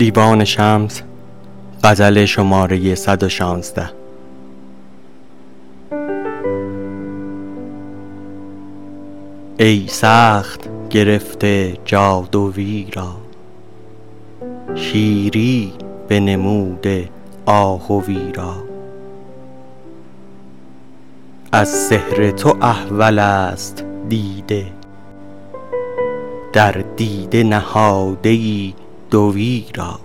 ای سخت گرفته جادوی را شیری بنموده آهوی را از سحر تو احولست دیده در دیده نهاده ای دوی را